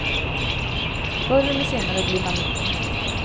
Förr eller senare blir man immun.